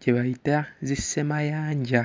kye bayita zissemayanja.